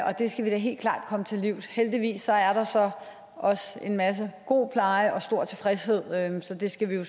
og det skal vi da helt klart komme til livs heldigvis er der så også en masse god pleje og stor tilfredshed så det skal vi jo